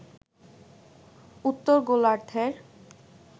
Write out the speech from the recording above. উত্তর গোলার্ধের